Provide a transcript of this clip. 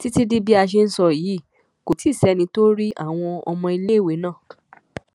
títí di bá a ṣe ń sọ yìí kò tí ì sẹni tó rí àwọn ọmọléèwé náà